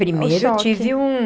Primeiro eu tive um...